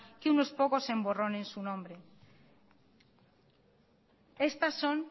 que unos pocos emborronen su nombre estas son